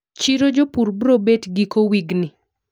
Chiro jopur bro bet giko wigni?